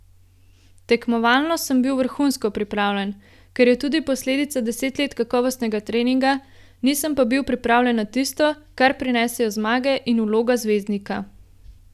Tekmovalno sem bil vrhunsko pripravljen, kar je tudi posledica deset let kakovostnega treninga, nisem pa bil pripravljen na tisto, kar prinesejo zmage in vloga zvezdnika.